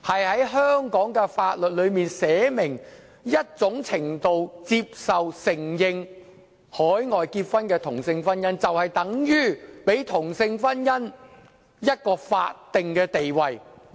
在香港的法例中，訂明某種程度接受和承認海外締結的同性婚姻，就等於給同性婚姻一個法定地位。